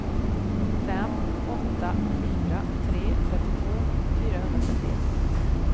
fem åtta fyra tre trettiotvå fyrahundratrettioett